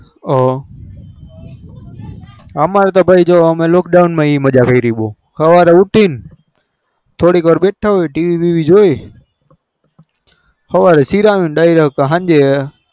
હ અમારે તો અમેં lockdown એ મજા કરી સવાર માં ઉઠી બેઠા હોય થોડી વાર tv જોઈ હવારે સિરમો દાયરો કે સિરમો